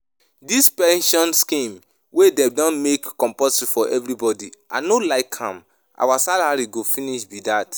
Dis pension scheme wey dem don make compulsory for everybody I no like am, our salary go finish be dat